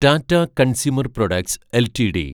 Tata consumer products LTD